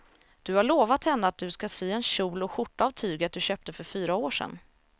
Du har lovat henne att du ska sy en kjol och skjorta av tyget du köpte för fyra år sedan.